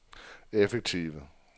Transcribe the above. effektive